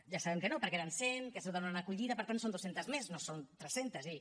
ja sabem que no perquè eren cent que es donen a acollida per tant són dues centes més no són tres centes és a dir